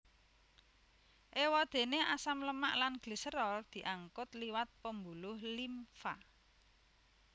Éwadéné asam lemak lan gliserol diangkut liwat pembuluh limfa